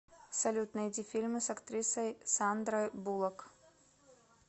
салют найди фильмы с актрисой сандрой буллок